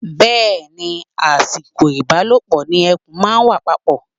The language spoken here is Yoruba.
Bẹ́ẹ̀ ni, àsìkò ìbálòpọ̀ ni ẹ̀kùn máa ń wà papọ̀.